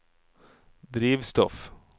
drivstoff